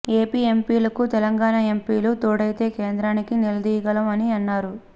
AP ఎంపీలకు తెలంగాణ ఎంపీలు తోడైతే కేంద్రాన్ని నిలదీయగలం అని అన్నారు